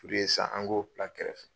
an k'o bila kɛrɛfɛ.